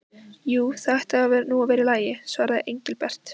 Jú, það ætti nú að vera í lagi svaraði Engilbert.